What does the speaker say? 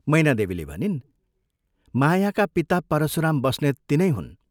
" मैनादेवीले भनिन्, " मायाका पिता परशुराम बस्नेत तिनै हुन्।